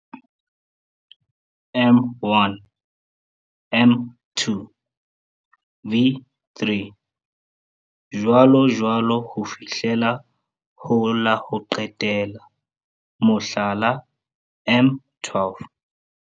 M1, M2, V3 jwalojwalo ho fihlela ho la ho qetela, mohlala M12.